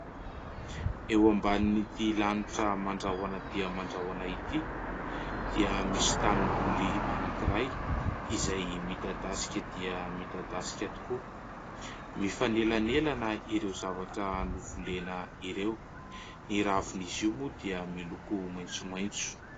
Eo ambanin'ity lanitra mandrahona dia mandrahona ity dia misy tanimboly anankiray izay midadasika dia midadasika tokoa. Mifanelanelana ireo zavatra novolena ireo ; ny ravin'izy io moa dia miloko maitsomaitso.